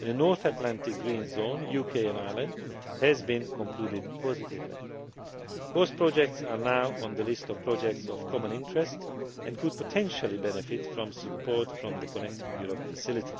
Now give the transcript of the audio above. and the North Atlantic Green Zone, UK and Ireland, has been concluded positively. Both projects are now on the list of projects of common interest and could potentially benefit from support from the Connecting Europe Facility.